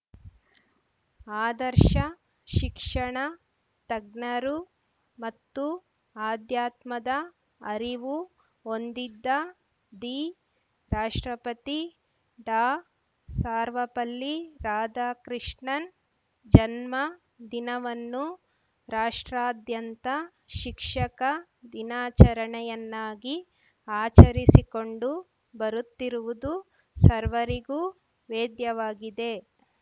ಆದರ್ಶ ಶಿಕ್ಷಣ ತಜ್ಞರು ಮತ್ತು ಅಧ್ಯಾತ್ಮದ ಅರಿವು ಹೊಂದಿದ್ದ ದಿ ರಾಷ್ಟ್ರಪತಿ ಡಾಸರ್ವಪಲ್ಲಿ ರಾಧಾಕೃಷ್ಣನ್‌ ಜನ್ಮ ದಿನವನ್ನು ರಾಷ್ಟ್ರಾದ್ಯಂತ ಶಿಕ್ಷಕ ದಿನಾಚರಣೆಯನ್ನಾಗಿ ಆಚರಿಸಿಕೊಂಡು ಬರುತ್ತಿರುವುದು ಸರ್ವರಿಗೂ ವೇದ್ಯವಾಗಿದೆ